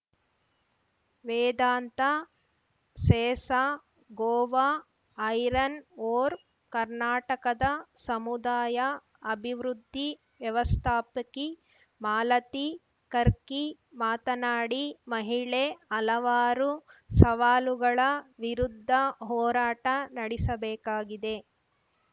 ವೇದಾಂತ Sesa Goa iron ore ಕರ್ನಾಟಕದ ಸಮುದಾಯ ಅಭಿವೃದ್ಧಿ ವ್ಯವಸ್ಥಾಪಕಿ ಮಾಲತಿ ಕರ್ಕಿ ಮಾತನಾಡಿ ಮಹಿಳೆ ಹಲವಾರು ಸವಾಲುಗಳ ವಿರುದ್ಧ ಹೋರಾಟ ನಡಿಸಬೇಕಾಗಿದೆ